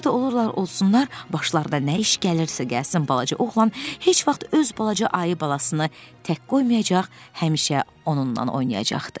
Harda olurlar olsunlar, başlarına nə iş gəlirsə gəlsin, balaca oğlan heç vaxt öz balaca ayı balasını tək qoymayacaq, həmişə onunla oynayacaqdı.